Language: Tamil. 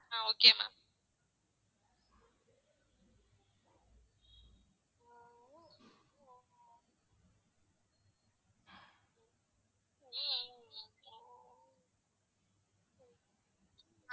ah okay ma'am